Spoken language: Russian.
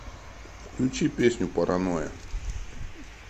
включи песню паранойя